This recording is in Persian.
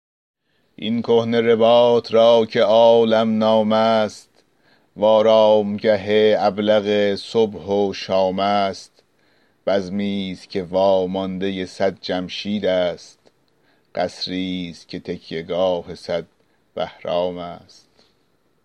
این کهنه رباط را که عالم نام است و آرامگه ابلق صبح و شام است بزمی ست که واماندۀ صد جمشید است قصری ست که تکیه گاه صد بهرام است